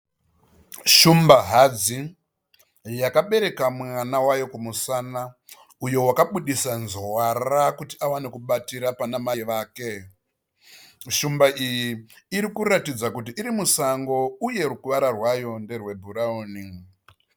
Shumba hadzi yakapereka mwana wayo kumusana. Uyo wakabudisa nzwara kuti awane kubatira pana mai vake .Shumbu iyi iri kuratidza kuti iri musango uye ruvara rwayo nderwe bhurawuni.